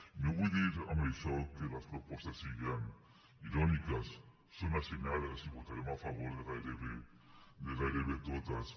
i no vull dir amb això que les propostes siguen iròniques són assenyades i votarem a favor de gairebé totes